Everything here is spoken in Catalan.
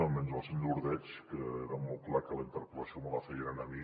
bé menys el senyor ordeig que era molt clar que la interpel·lació me la feia a mi